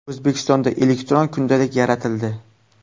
O‘zbekistonda elektron kundalik yaratildi.